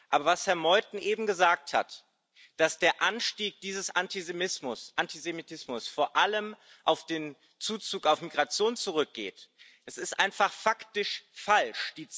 Aber was Herr Meuthen eben gesagt hat, dass der Anstieg dieses Antisemitismus vor allem auf den Zuzug, auf Migration zurückgeht, das ist einfach faktisch falsch.